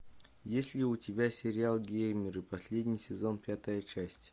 есть ли у тебя сериал геймеры последний сезон пятая часть